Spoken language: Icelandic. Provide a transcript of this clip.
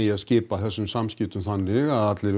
að skipta þessum samskiptum þannig að allir